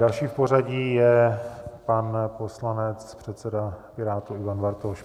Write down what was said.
Další v pořadí je pan poslanec, předseda Pirátů Ivan Bartoš.